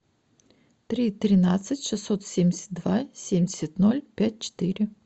три тринадцать шестьсот семьдесят два семьдесят ноль пять четыре